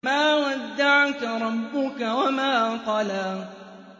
مَا وَدَّعَكَ رَبُّكَ وَمَا قَلَىٰ